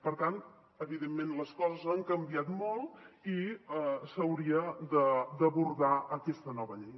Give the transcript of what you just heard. per tant evidentment les coses han canviat molt i s’hauria d’abordar aquesta nova llei